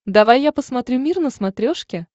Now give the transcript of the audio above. давай я посмотрю мир на смотрешке